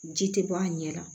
Ji tɛ bɔ a ɲɛ la